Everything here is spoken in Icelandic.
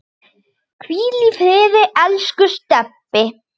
Hvíl í friði, elsku Stebbi.